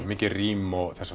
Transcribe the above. mikið rím og þessháttar